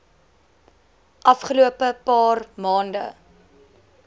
afgelope paar maande